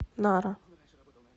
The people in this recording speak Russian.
нара